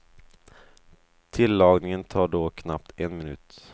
Tillagningen tar då knappt en minut.